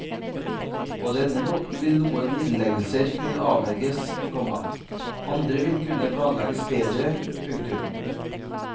På denne måten vil noen innleggelser kunne avverges, komma andre vil kunne planlegges bedre. punktum